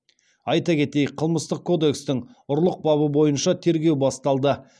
айта кетейік қылмыстық кодекстің ұрлық бабы бойынша тергеу басталды